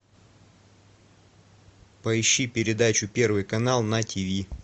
поищи передачу первый канал на тиви